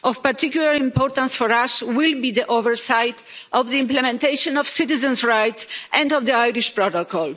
Of particular importance for us will be the oversight of the implementation of citizens' rights and of the Irish protocol.